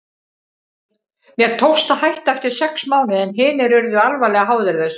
Mér tókst að hætta eftir sex mánuði en hinir urðu alvarlega háðir þessu.